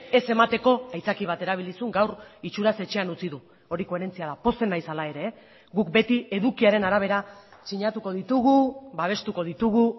ez emateko aitzaki bat erabili zuen gaur itxuraz etxean utzi du hori koherentzia da pozten naiz hala ere guk beti edukiaren arabera sinatuko ditugu babestuko ditugu